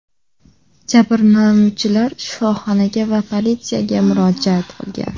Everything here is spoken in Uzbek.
Jabrlanuvchilar shifoxonaga va politsiyaga murojaat qilgan.